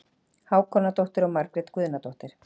Hákonardóttir og Margrét Guðnadóttir.